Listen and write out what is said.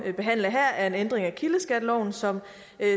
behandle her er en ændring af kildeskatteloven som